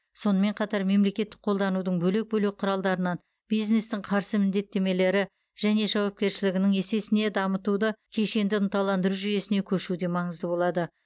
сонымен қатар мемлекеттік қолдаудың бөлек бөлек құралдарынан бизнестің қарсы міндеттемелері және жауапкершілігінің есесіне дамуды кешенді ынталандыру жүйесіне көшу де маңызды болады